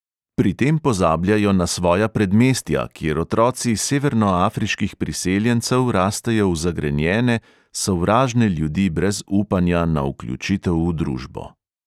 Pri tem pozabljajo na svoja predmestja, kjer otroci severnoafriških priseljencev rastejo v zagrenjene, sovražne ljudi brez upanja na vključitev v družbo.